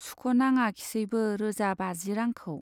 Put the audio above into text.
सुख' नाङाखिसैबो रोजा बाजि रांखौ।